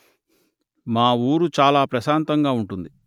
మా ఊరు చాలా ప్రశాంతంగా అందంగా ఉంటుంది